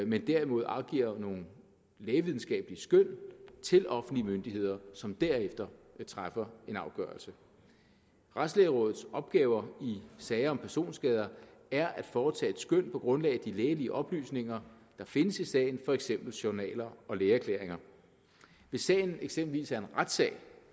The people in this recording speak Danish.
men derimod afgiver nogle lægevidenskabelige skøn til offentlige myndigheder som derefter træffer en afgørelse retslægerådets opgaver i sager om personskade er at foretage et skøn på grundlag af de lægelige oplysninger der findes i sagen for eksempel journaler og lægeerklæringer hvis sagen eksempelvis er en retssag